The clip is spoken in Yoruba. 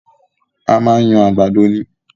A máa ń yan àgbàdo ni